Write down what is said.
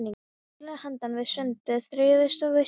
Í fjallinu handan við sundið þráuðust við snjóskaflar.